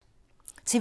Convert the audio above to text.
TV 2